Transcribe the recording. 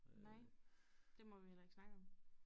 Nej det må vi heller ikke snakke om